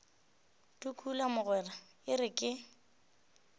tukula mogwera e re ke